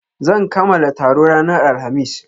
Zan kamala taro ranar Alhamis.